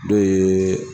Dɔ ye